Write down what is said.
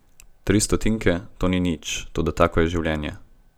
Tri stotinke, to ni nič, toda tako je življenje.